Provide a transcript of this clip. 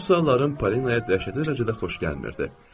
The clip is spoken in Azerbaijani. Mənim suallarım Polinaya dəhşətli dərəcədə xoş gəlmirdi.